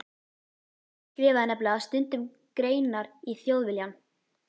Pabbi skrifaði nefnilega stundum greinar í Þjóðviljann.